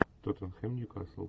тоттенхэм ньюкасл